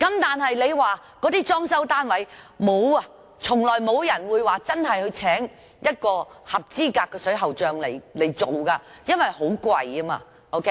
但是，為一些單位裝修，從來沒有人會聘請一名合資格的水喉匠進行工程，因為很昂貴。